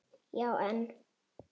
Já en.